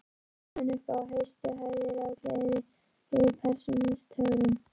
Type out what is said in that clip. Var kominn upp í hæstu hæðir af gleði yfir persónutöfrunum.